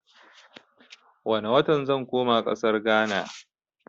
Wane watan zan koma ƙasar gana